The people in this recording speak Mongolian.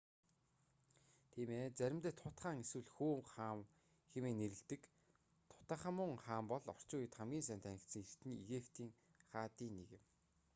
тийм ээ заримдаа тут хаан эсвэл хүү хаан хэмээн нэрлэдэг тутанхамун хаан бол орчин үед хамгийн сайн танигдсан эртний египетийн хаадын нэг юм